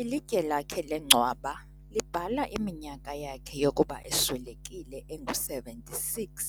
Ilitye lakhe lengcwaba libhala iminyaka yakhe yokuba eswelekile engu-76,